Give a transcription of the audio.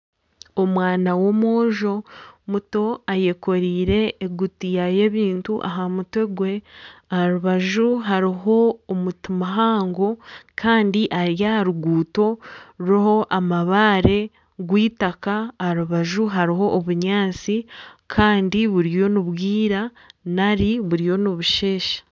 Omwana w'omwojo muto ayekoreire egutiya y'ebintu aha mutwe gwe. Aha rubaju hariho omuti muhango kandi ari aha ruguuto ruriho amabaare rw'eitataka, aha rubaju hariho obunyaatsi kandi buriyo nibwira nari buriyo nibusheesha.